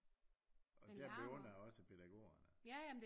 Og der beundrer jeg også pædagogerne